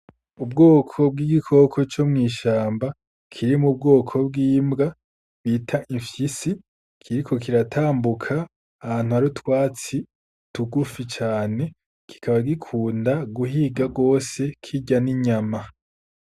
Ubwoko bw’igikoko co mw’ishamba kiri mu bwoko bw’imbwa bita ifyisi, kiriko kiratambuka ahantu hari utwatsi tugufi cane kikaba gikunda guhiga gose kirya n’inyama.